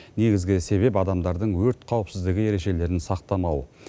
негізгі себеп адамдардың өрт қауіпсіздігі ережелерін сақтамауы